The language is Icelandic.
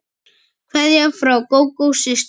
Kveðja frá Gógó systur.